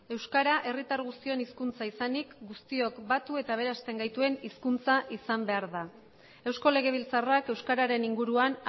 euskara herritar guztion hizkuntza izanik guztiok batu eta aberasten gaituen hizkuntza izan behar da eusko legebiltzarrak euskararen inguruan